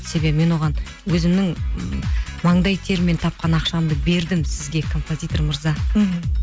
себебі мен оған өзімнің м маңдай теріммен тапқан ақшамды бердім сізге композитор мырза мхм